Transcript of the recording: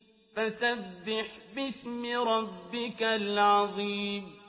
فَسَبِّحْ بِاسْمِ رَبِّكَ الْعَظِيمِ